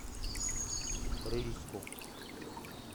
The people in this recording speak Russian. рыльску